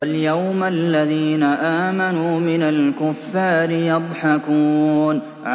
فَالْيَوْمَ الَّذِينَ آمَنُوا مِنَ الْكُفَّارِ يَضْحَكُونَ